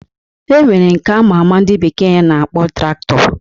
E nwere nke ama ama ndị bekee na-akpọ Traktọ